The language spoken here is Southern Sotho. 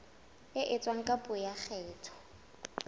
etswa ka puo ya kgetho